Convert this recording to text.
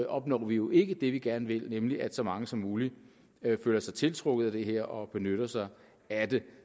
opnår vi jo ikke det vi gerne vil nemlig at så mange som muligt føler sig tiltrukket at det her og benytter sig af det